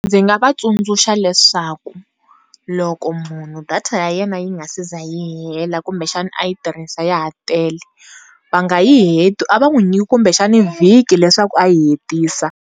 Ndzi nga va tsundzuxa leswaku loko munhu data ya yena yi nga si za yi hela kumbe xana a yi tirhisa ya ha tele vanga yi heti a va n'wi nyiki kumbe xana vhiki leswaku a yi hetisa.